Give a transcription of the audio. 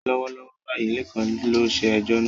Lọ́wọ́lọ́wọ́ báyìí, Lekan ló ṣe ẹjọ́ náà.